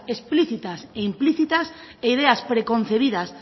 explicitas e implícitas e ideas preconcebidas